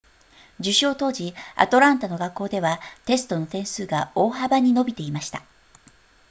受賞当時アトランタの学校ではテストの点数が大幅に伸びていました